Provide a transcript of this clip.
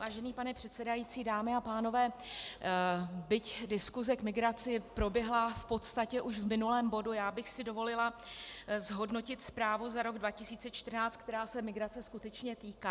Vážený pane předsedající, dámy a pánové, byť diskuse k migraci proběhla v podstatě už v minulém bodu, já bych si dovolila zhodnotit zprávu za rok 2014, která se migrace skutečně týká.